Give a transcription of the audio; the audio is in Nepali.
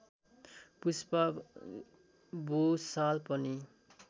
पुष्पा भुषाल पनि